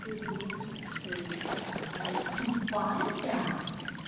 ты думаешь что я такая тупая